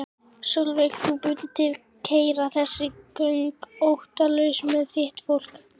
Sólveig: Þú mundir keyra þessi göng óttalaus með þitt fólk?